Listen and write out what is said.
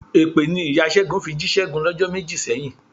Èpè ni ìya Ṣẹ́gun fi jí Ṣẹ́gun lọ́jọ́ méjì sẹ́yìn.